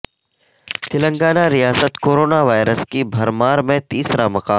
تلنگانہ ریاست corona virus کی بھرمار میں تیسرا مقام